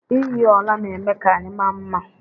iyi ọla na-eme ka anyị maa mma